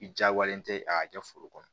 I jagoyalen tɛ a kɛ foro kɔnɔ